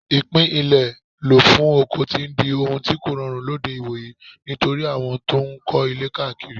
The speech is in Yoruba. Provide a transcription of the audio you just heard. Ìpín ilẹ̀ lò fún oko ti ń di ohun tí kòrọrùn lóde ìwòyí nítorí àwọn tó ń kọ́ ilé káàkiri.